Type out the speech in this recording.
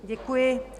Děkuji.